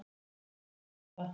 Við látum lögguna hafa það.